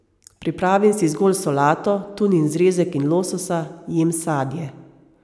Pripravim si zgolj solato, tunin zrezek in lososa, jem sadje ...